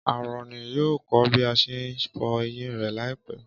Áárónì yóò kọ́ bí a ṣe ń fọ eyín rẹ̀ láìpẹ́.